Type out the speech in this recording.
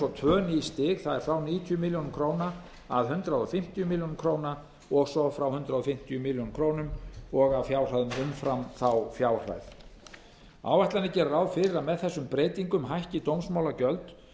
svo tvö ný stig það er frá níutíu milljónir króna að hundrað fimmtíu milljónir króna og svo frá hundrað fimmtíu milljónir króna og af fjárhæð umfram þá fjárhæð áætlanir gera ráð fyrir að með þessum breytingum hækki dómsmálagjöld